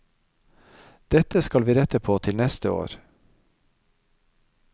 Dette skal vi rette på til neste år.